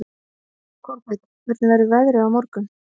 Kolbeinn, hvernig verður veðrið á morgun?